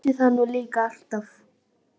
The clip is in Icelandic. Ég vissi það nú líka alltaf!